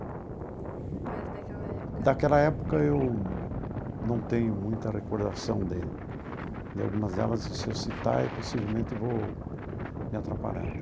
Mas daquela época... Daquela época eu não tenho muita recordação de... de algumas delas, e se eu citar, possivelmente vou me atrapalhar.